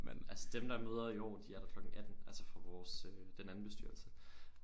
Altså dem der møder i år de er der klokken 18 altså fra vores øh den anden bestyrelse